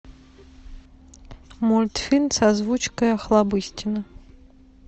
мультфильм с озвучкой охлобыстина